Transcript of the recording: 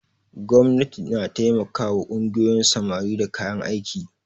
Gwamnati na taimakawa ƙungiyoyin samari da kayan aiki.